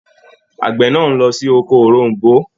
Àgbẹ̀ náà á lọ sí oko òroǹbó